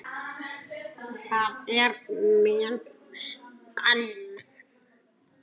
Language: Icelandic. Það er mun skemmti